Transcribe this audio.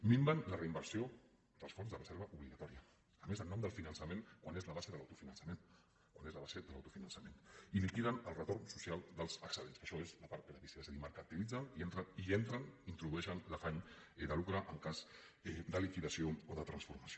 minven la reinversió dels fons de reserva obligatòria a més en nom del finançament quan és la base de l’autofinançament quan és la base de l’autofinançament i liquiden el retorn social dels excedents que això és la part gratis és a dir mercantilitzen i hi entren introdueixen l’afany de lucre en cas de liquidació o de transformació